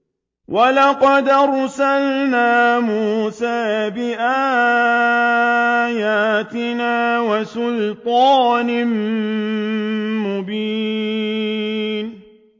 وَلَقَدْ أَرْسَلْنَا مُوسَىٰ بِآيَاتِنَا وَسُلْطَانٍ مُّبِينٍ